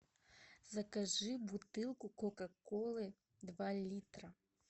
закажи бутылку кока колы два литра